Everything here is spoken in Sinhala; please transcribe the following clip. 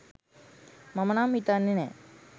මම නම් හිතන්නෙ නෑ